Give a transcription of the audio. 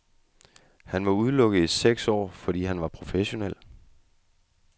Han var udelukket i seks år, fordi han var professionel.